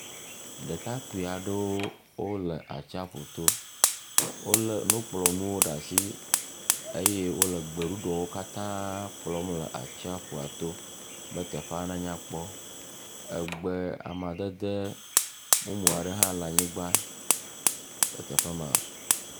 Ɖekakpui ɖe wo le atsia ƒu to. Wole nukplɔ nu ɖe asi eye wole gbeɖuɖɔ wokata kplɔ le tsiaƒua to be teƒea na nya kpɔ. Agbe amadede bubu aɖewo hã le anyigba le teƒe maa.